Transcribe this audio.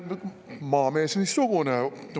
Maamees missugune!